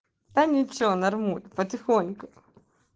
да ничего нормуль потихоньку